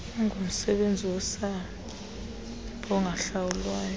ungumsebenzi wosapho ongahlawulwayo